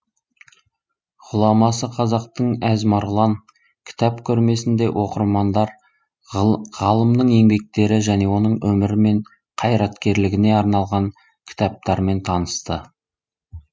ғұламасы қазақтың әз марғұлан кітап көрмесінде оқырмандар ғалымның еңбектері және оның өмірі мен қайраткерлігіне арналған кітаптармен танысты